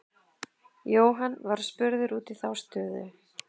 Jóhann var spurður út í þá stöðu.